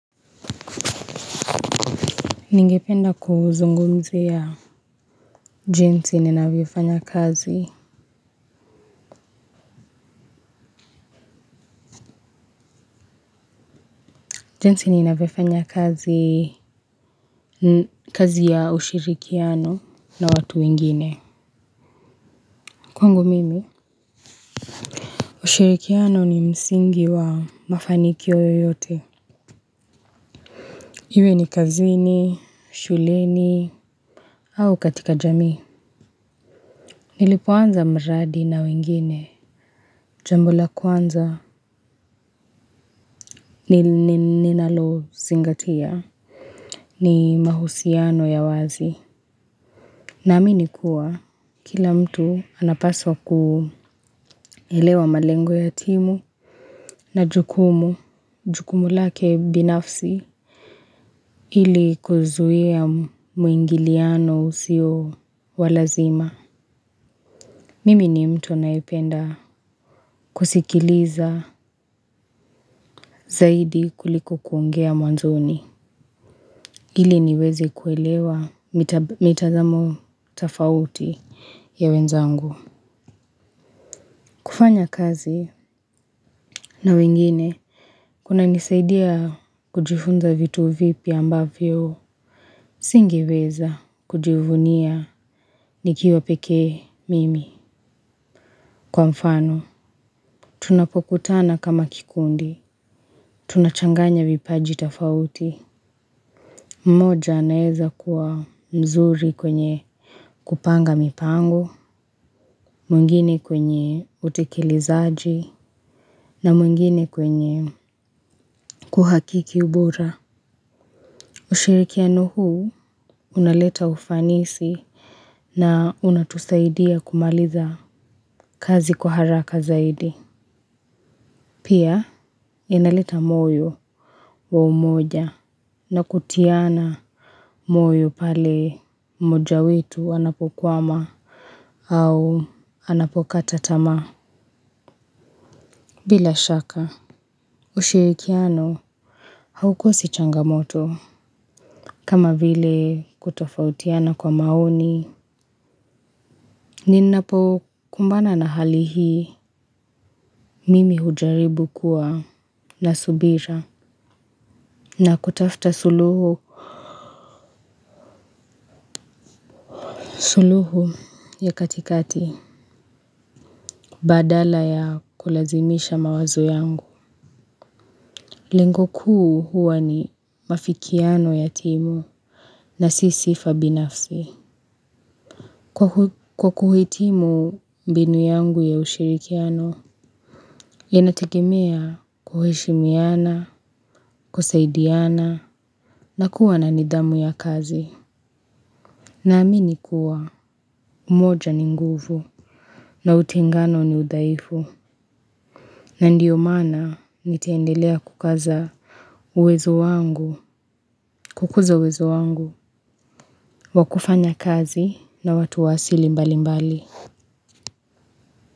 Ningependa kuzungumzia jinsi ninavyofanya kazi. Jinsi ninavyofanya kazi ya ushirikiano na watu wengine. Kwangu mimi? Ushirikiano ni msingi wa mafanikio yoyote. Iwe ni kazini, shuleni, au katika jamii. Nilipoanza mradi na wengine. Jambo la kwanza ni ninalo zingatia. Ni mahusiano ya wazi. Na amini kuwa kila mtu anapaswa ku elewa malengo ya timu na jukumu, jukumu lake binafsi ili kuzuia muingiliano usio walazima. Mimi ni mtu anayependa kusikiliza zaidi kuliko kuongea mwanzoni. Ili niwezi kuelewa mitazamo tafauti ya wenzangu. Kufanya kazi na wengine, kuna nisaidia kujifunza vitu vipya ambavyo, singeweza kujivunia nikiwa pekee mimi kwa mfano. Tunapokutana kama kikundi tunachanganya vipaji tafauti. Mmoja anaeza kuwa mzuri kwenye kupanga mipango, mwingine kwenye utikilizaji, na mwingine kwenye kuhakiki ubora. Ushirikiano huu unaleta ufanisi na unatusaidia kumaliza kazi kwa haraka zaidi. Pia inaleta moyo wa umoja na kutiana moyo pale mmoja wetu anapokwama au anapokata tamaa. Bila shaka, ushirikiano haukosi changamoto, kama vile kutofautiana kwa maoni, nina po kumbana na hali hii, mimi hujaribu kuwa na subira, na kutafta suluhu ya katikati, badala ya kulazimisha mawazo yangu. Lengo kuu huwa ni mafikiano ya timu na sisi fabinafsi. Kwa kuhitimu mbinu yangu ya ushirikiano, yanategemea kuheshimiana, kusaidiana, na kuwa na nidhamu ya kazi. Na amini kuwa, umoja ni nguvu na utengano ni udhaifu. Na ndiyo mana niteendelea kukaza uwezo wangu, kukuza uwezo wangu. Wakufanya kazi na watu wa asili mbali mbali.